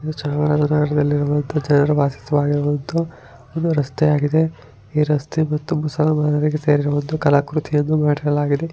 ಚಾಮರಾಜನಗರದಲ್ಲಿರುವಂತಹ ಜನರು ವಾಸವಾಗಿರುವಂತಹ ಒಂದು ರಸ್ತೆ ಆಗಿದೆ. ಈ ರಸ್ತೆ ಮತ್ತು ಮುಸಲ್ಮಾನರಿಗೆ ಸೇರಿರುವಂತಹ ಕಲಾಕೃತಿ ಅದು ಮಾಡಿರಲಾಗಿದೆ.